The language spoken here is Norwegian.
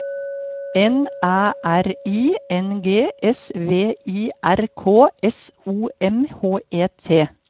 N Æ R I N G S V I R K S O M H E T